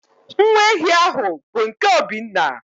Nwa ehi ahụ bụ nke Obinna